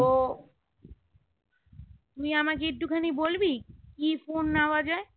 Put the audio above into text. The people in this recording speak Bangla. তো তুই আমাকে একটুখানি বলবি কি phone নেওয়া যায়